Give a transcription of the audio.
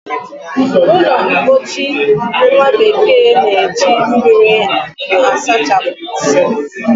Ụlọmpochi nwabekee na-eji mmiri asachapụ nsị